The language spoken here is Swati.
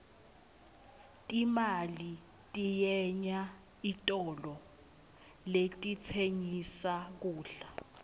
timali tiyenya etitolo letitsengissa kudla